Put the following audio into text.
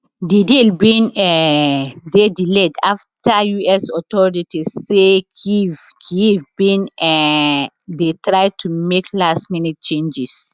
di deal bin um dey delayed after us authorities say kyiv kyiv bin um dey try to make lastminute changes